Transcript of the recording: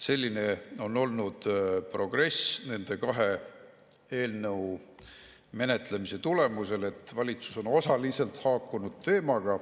Selline on olnud progress nende kahe eelnõu menetlemise tulemusel, et valitsus on osaliselt teemaga haakunud.